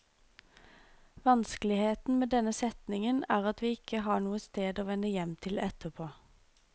Vanskeligheten med denne setningen er at vi ikke har noe sted å vende hjem til etterpå.